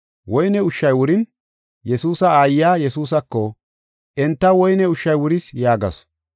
Woyne ushshay wurin, Yesuusa aayiya Yesuusako, “Entaw woyne ushshay wuris” yaagasu.